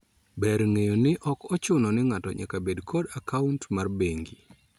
Ber ng'eyo ni ok ochuno ni ng'ato nyaka bed kod akaunt mar bengi